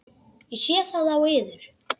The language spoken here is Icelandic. Ég sé það á yður.